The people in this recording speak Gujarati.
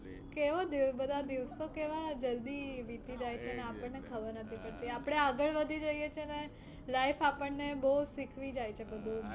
કેવું દિ બધા દિવસો કેવા જલ્દી વીતી જાય છે ને આપણને ખબર નથી પડતી. આપણે આગળ વધી જઈએ છીએ ને life આપણને બહુ શીખવી જાય છે બધુ.